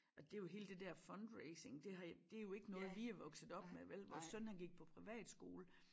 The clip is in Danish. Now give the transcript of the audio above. Og det jo hele det dér fundraising det har det jo ikke noget vi er vokset op med vel vores søn han gik på privatskole